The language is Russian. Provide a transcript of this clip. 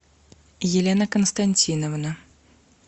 елена константиновна